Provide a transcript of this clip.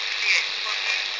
e ka ba hlompho le